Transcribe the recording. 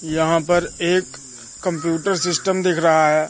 यहां पर एक कंप्यूटर सिस्टम दिख रहा है।